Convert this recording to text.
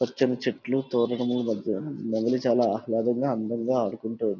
పచ్చనిచెట్లు తోరణములు మధ్య బదులు చాలా ఆనందంగా ఆహ్లాదంగా ఆడుకుంటు--